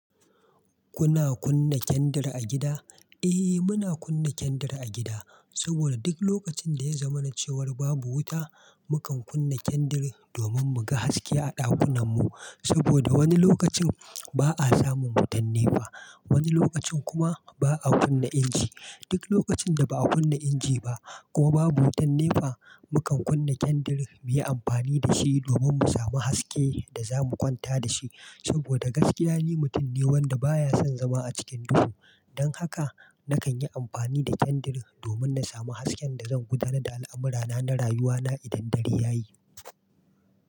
Kuna kunna kendir a gida? Eh, muna kunna kendir a gida, saboda duk lokacin da ya zama na cewar babu wuta, mukan kunna kendir domin mu ga haske a ɗakunan mu. Saboda wani lokacin ba'a samu wutan nefa, wani lokacin kuma ba'a kunna inji. Duk lokacin da ba'a kunna inji ba ko babu wutan nefa, mukan kunna kendir muyi amfani da shi domin mu samu haske da za mu kwanta da shi. Saboda gaskiya ni mutum ne wanda baya son zama a cikin duhu. Don haka nakan yi amfani da kendir domin na samu hasken da zan gudanar da al'amurana na rayuwa na idan dare ya yi.